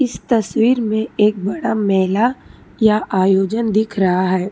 तस्वीर में एक बड़ा मेला या आयोजन दिख रहा है।